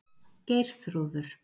Geirþrúður